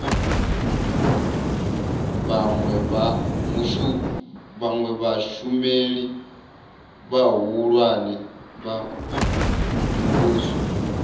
vhawe vhashumeli vhahulwane vha muvhuso